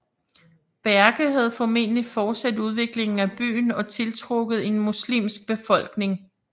Berke havde formentlig fortsat udviklingen af byen og tiltrukket en muslimsk befolkning